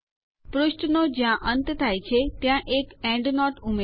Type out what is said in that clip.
પુષ્ઠનો જ્યાં અંત થાય છે ત્યાં એક એન્ડનોટ ઉમેરો